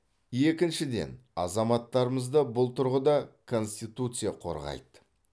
екіншіден азаматтарымызды бұл тұрғыда конституция қорғайды